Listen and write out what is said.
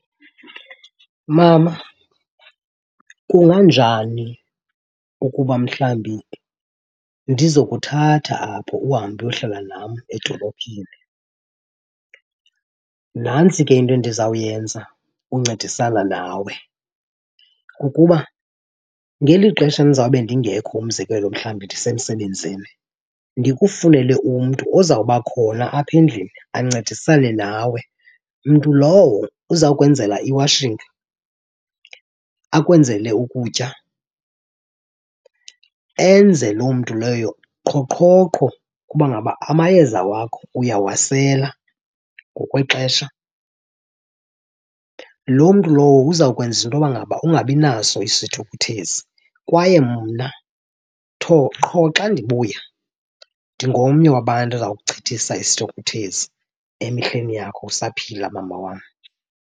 Mama, kunganjani ukuba mhlambi ndizokuthatha apho uhambe uyohlala nam edolophini? Nantsi ke into endizawuyenza uncedisana nawe. Kukuba ngeli xesha ndizawube ndingekho, umzekelo mhlawumbi ndisemsebenzini, ndikufunele umntu ozawuba khona apha endlini ancedisane nawe. Mntu lowo uzawukwenzela i-washing, akwenzele ukutya, enze loo mntu loyo qhoqhoqho ukuba ngaba amayeza wakho uyawasela ngokwexesha. Loo mntu lowo uzawukwenza into yoba ngaba ungabinaso isithukuthezi kwaye mna qho xa ndibuya ndingomnye wabantu oza kuchithisa isithukuthezi emihleni yakho usaphila, mama wam.